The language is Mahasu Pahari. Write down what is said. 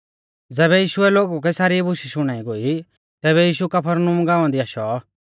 ज़ैबै यीशुऐ लोगु कै सारी बुशै शुणाई गोई तैबै यीशु कफरनहूम गाँवा दी आशौ